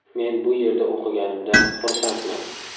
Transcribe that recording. Men bu yerda o‘qiganimdan xursandman.